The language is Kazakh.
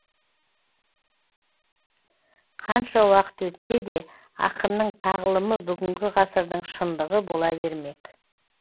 қанша уақыт өтсе де ақынның тағлымы бүгінгі ғасырдың шындығы бола бермек